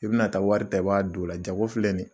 I bina taa wari ta i b'a d'ola jago filɛ ni ye